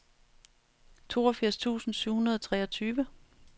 toogfirs tusind syv hundrede og treogtyve